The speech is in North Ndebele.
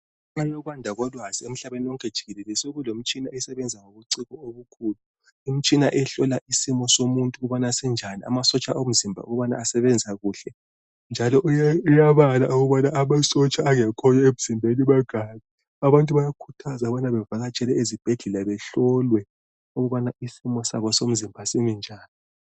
Kukhanya okwanda kolwazi emhlabeni wonke jikelele sokulomtshina esebenza ngokucwephe obukhulu. Imitshina ehlola isimo somuntu ukuba sinjan amasotsha omzimba ukubana asebenza kuhle njalo uyeuyabala ukubana amasotsha angekhoyo emzimbeni mangaki. Abantu bayakhuthazwa ukubana bevakatshele ezibhedlela behlolwe ukubana isimo sabo somzimba simi njani.